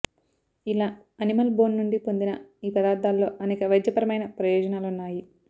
ఇలా animal bone నుండి పొందిన ఈ పదార్థాలలో అనేక వైద్యపరమైన ప్రయోజనాలున్నాయి